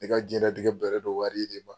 Ale ka jiɲɛnatigɛ bɛnnen don wari de ma.